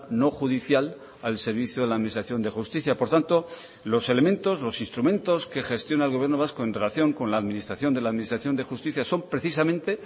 no judicial al servicio de la administración de justicia por tanto los elementos los instrumentos que gestiona el gobierno vasco en relación con la administración de la administración de justicia son precisamente